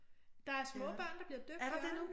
Der er små børn der bliver døbt Jørgen